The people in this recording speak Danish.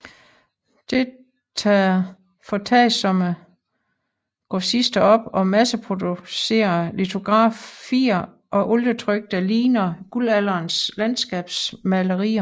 Det tager foretagsomme grossister op og masseproducerer litografier og olietryk der ligner guldalderens landskabsmalerier